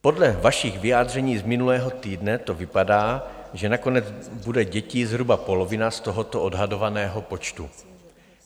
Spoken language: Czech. Podle vašich vyjádření z minulého týdne to vypadá, že nakonec bude dětí zhruba polovina z tohoto odhadovaného počtu.